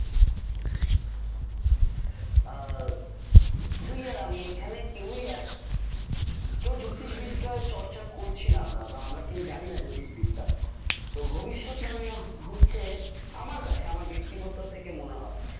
আহ তুই আর আমি এখানে কেউই জ্যোতিষবিদ্যা চর্চা করছি না আমরা, আমরা কেউ জানিনা জ্যোতিষবিদ্যা তো ভবিষ্যৎ মানে হচ্ছে আমার কাছে আমার ব্যক্তিগত থেকে মনে হয়